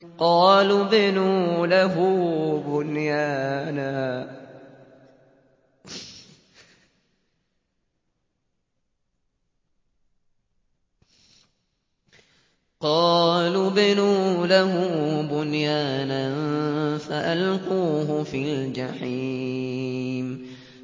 قَالُوا ابْنُوا لَهُ بُنْيَانًا فَأَلْقُوهُ فِي الْجَحِيمِ